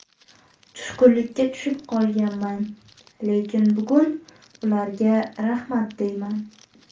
Tushkunlikka tushib qolganman, lekin bugun ularga rahmat deyman.